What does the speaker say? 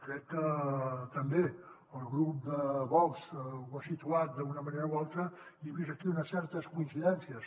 crec que també el grup de vox ho ha situat d’una manera o altra i he vist aquí unes certes coincidències